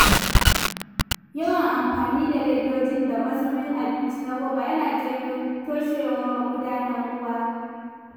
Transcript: Yawan amfani da ledoji da mazubin abinci na roba yana janyo toshewar magudanan ruwa.